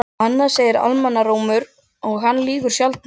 Annað segir almannarómur og hann lýgur sjaldnast.